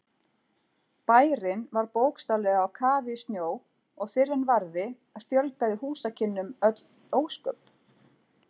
Bærinn var bókstaflega á kafi í snjó og fyrr en varði fjölgaði húsakynnum öll ósköp.